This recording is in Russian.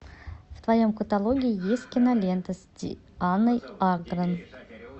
в твоем каталоге есть кинолента с дианной агрон